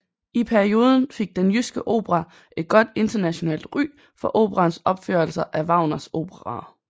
I perioden fik Den Jyske Opera et godt internationalt ry for operaens opførelser af Wagners operaer